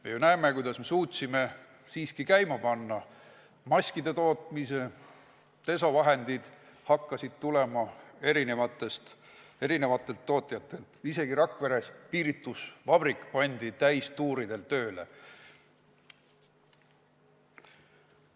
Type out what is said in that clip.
Me ju näeme, kuidas me suutsime käima panna maskide tootmise, desovahendid hakkasid tulema erinevatelt tootjatelt, isegi Rakvere piiritusvabrik pandi täistuuridel tööle.